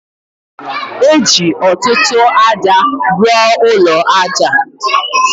E ji ọtụtụ aja rụọ ụlọ aja o.